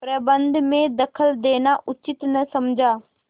प्रबंध में दखल देना उचित न समझा